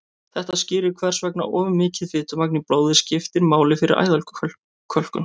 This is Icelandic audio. þetta skýrir hvers vegna of mikið fitumagn í blóði skiptir máli fyrir æðakölkun